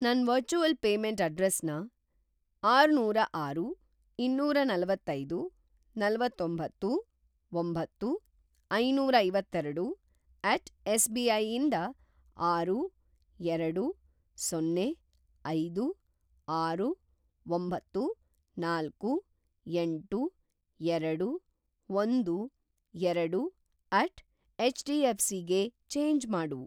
ನನ್‌ virtual payment ಅಡ್ರೆಸ್‌ನ ಆರ್ನೂರಆರು, ಇನ್ನೂರನಲವತ್ತೈದು, ನಲವತ್ತೊಂಬತ್ತು, ಒಂಬತ್ತು, ಐನೂರಐವತ್ತೇರಡು ಎಟ್ ಎಸ್.ಬಿ.ಐ ಇಂದ ಆರು, ಎರಡು, ಸೊನ್ನೆ, ಐದು, ಆರು, ಒಂಬತ್ತು, ನಾಲ್ಕು, ಎಂಟು, ಎರಡು, ಒಂದು, ಎರಡು ಎಟ್ ಎಚ್.ಡಿ.ಎಫ್.ಸಿ ಗೆ ಚೇಂಜ್‌ ಮಾಡು.